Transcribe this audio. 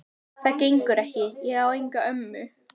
Það gengur ekki, ég á enga ömmu